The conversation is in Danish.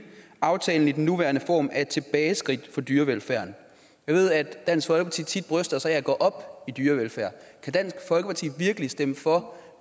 at aftalen i den nuværende form er et tilbageskridt for dyrevelfærden jeg ved at dansk folkeparti tit bryster sig af at gå op i dyrevelfærd kan dansk folkeparti virkelig stemme for